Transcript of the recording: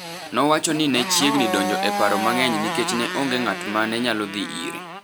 nowacho ni ne chiegni donjo e paro mang’eny nikech ne onge ng’at ma ne nyalo dhi ire.